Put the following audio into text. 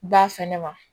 Ba fɛnɛ ma